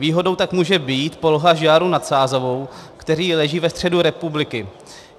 Výhodou tak může být poloha Žďáru na Sázavou, který leží ve středu republiky.